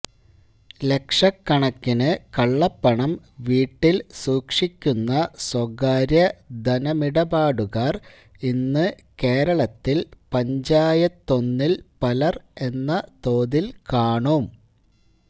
ലക്ഷക്കണക്കിന് കള്ളപ്പണം വീട്ടില് സൂക്ഷിക്കുന്ന സ്വകാര്യ ധനമിടപാടുകാര് ഇന്ന് കേരളത്തില് പഞ്ചായത്തൊന്നില് പലര് എന്ന തോതില് കാണും